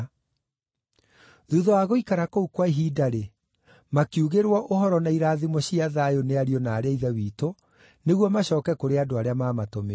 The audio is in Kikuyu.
Thuutha wa gũikara kũu kwa ihinda-rĩ, makiugĩrwo ũhoro na irathimo cia thayũ nĩ ariũ na aarĩ a Ithe witũ, nĩguo macooke kũrĩ andũ arĩa maamatũmĩte.